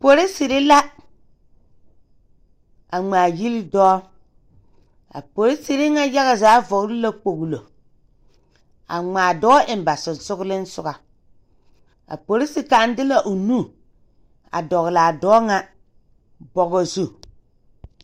Poroserre la a ngmaagyile dɔɔ a poroserre ŋa yaga zaa vɔgle la kpoŋlo a ngmaa dɔɔ so ba seŋsugliŋsugɔ a polise kaŋ de la o nu a dɔglaa dɔɔ ŋa bɔgɔ zu.